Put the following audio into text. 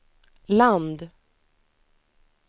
land